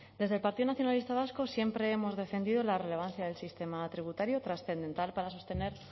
desde el partido nacionalista vasco siempre hemos defendido la relevancia del sistema tributario trascendental para sostener